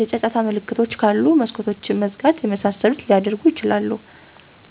የጫጫታ ምንጮች ካሉ መስኮቶችን መዝጋት የመሳሰሉትን ሊያደርጉ ይችላሉ።